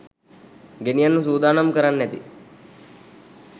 ගෙනියන්න සුදානම් කරන්න ඇති